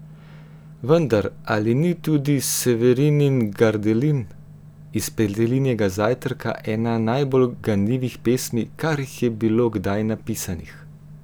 Vendar, ali ni tudi Severinin Gardelin iz Petelinjega zajtrka ena najbolj ganljivih pesmi, kar jih je bilo kdaj napisanih?